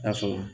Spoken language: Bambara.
Ya sɔrɔ